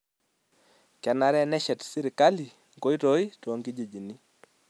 Kenare neshet sirkali nkoitoi tokijijini.